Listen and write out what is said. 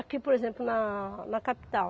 Aqui, por exemplo, na na capital.